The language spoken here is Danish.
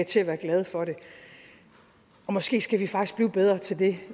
til at være glad for det måske skal vi faktisk blive bedre til det